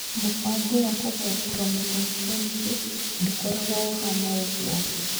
Mũbango wa kũgaya chromosome 20 ndũkoragwo ũhaana ũguo.